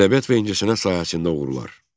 Ədəbiyyat və incəsənət sahəsində uğurlar.